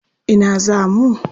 Ina za mu?